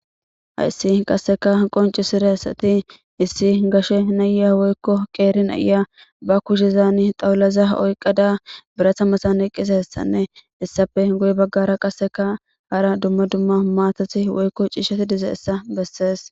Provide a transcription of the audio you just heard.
Haysi qaseka qonc'isiraysati issi gashe naya woyko qeri na'iya ba kushezani dhawulaza oyqada birata matan eqidaraysane heysape guye bagara qaseka hara duma duma matati woyko c'ishati dizaysa beses.